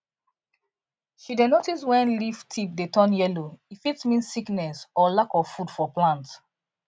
she dey notice when leaf tip dey turn yellow e fit mean sickness or lack of food for plant